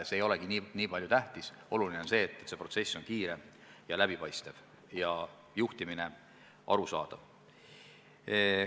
See ei ole esmatähtis, oluline on see, et protsess on kiire ja läbipaistev ja juhtimine arusaadav.